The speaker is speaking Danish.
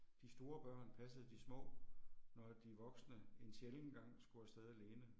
De store børn passede de små, når de voksne en sjælden gang skulle afsted alene